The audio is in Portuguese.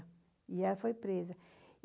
E ela foi presa.